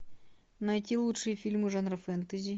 найти лучшие фильмы жанра фэнтези